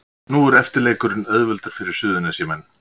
Nú er eftirleikurinn auðveldur fyrir Suðurnesjamenn